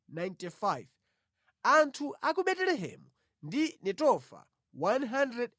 Anthu a ku Betelehemu ndi Netofa 188